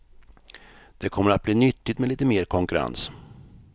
Det kommer att bli nyttigt med lite mer konkurrens.